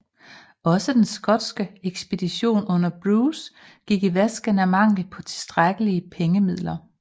Også den skotske ekspedition under Bruce gik i vasken af mangel på tilstrækkelige pengemidler